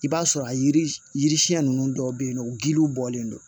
I b'a sɔrɔ a yiri yiri siɲɛ ninnu dɔw bɛ yen nɔ giliw bɔlen don